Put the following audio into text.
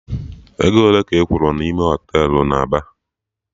Ego ole ka ị kwuru na ime ụlọ Họtelụ na Aba?